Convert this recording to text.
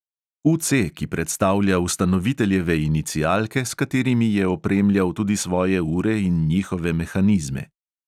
U C, ki predstavlja ustanoviteljeve inicialke, s katerimi je opremljal tudi svoje ure in njihove mehanizme.